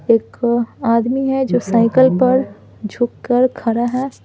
एक आदमी है जो साइकिल पर झुककर खड़ा है।